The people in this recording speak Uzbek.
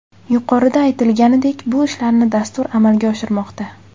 Yuqorida aytilganidek, bu ishlarni dastur amalga oshirmoqda.